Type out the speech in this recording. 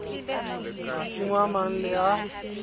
masimo a mang le a